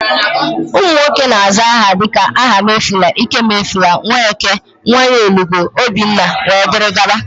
ụmụnwoke na-aza aha dika Ahamefula, ikemefula, Nweke, Nnanyelugo, obinna wdg